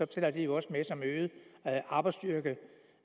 tæller de jo også med som øget arbejdsstyrke